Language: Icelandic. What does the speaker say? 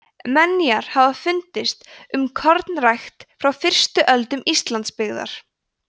menjar hafa fundist um kornrækt frá fyrstu öldum íslandsbyggðar